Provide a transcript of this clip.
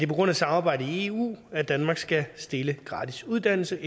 på grund af samarbejdet i eu at danmark skal stille gratis uddannelse